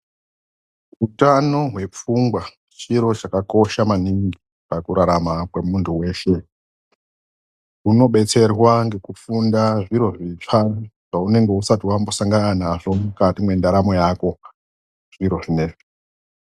UTANO HWEPFUNGWA CHIRO CHAKAKOSHA MANINGI PAKURARAMA KWEMUNTU WESHE. UNOBETSERWA NGEKUFUNDA ZVIRO ZVITSVA ZVAUNENGE USATI WAMBOSANGANA NAZVO MUKATI MWENDARAMO YAKO ZVIRO ZVINEZVI.